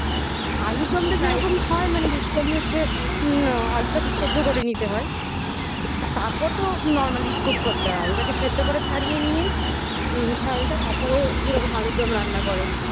আলুরদমটা যেরকম হয় মানে basically হচ্ছে আলুটাকে সেদ্ধ করে নিতে হয় তারপর তো normally cook করতে হয় আর ওটাকে সেদ্ধ করে ছাড়িয়ে নিয়ে ছালটা তারপরে যেরকম আলুরদম রান্না করে